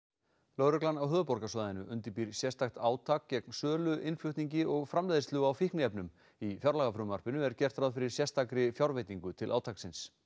lögreglan á höfuðborgarsvæðinu undirbýr sérstakt átak gegn sölu innflutningi og framleiðslu á fíkniefnum í fjárlagafrumvarpinu er gert ráð fyrir sérstakri fjárveitingu til átaksins